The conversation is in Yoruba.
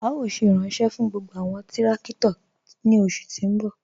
A yóò ṣé iranṣẹ̀ fún gbogbo awọn tìrakito ni oṣù ti n bọ̀.